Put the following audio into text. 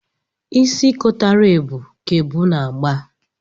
Isi kotara ebu ka ebu na-agba.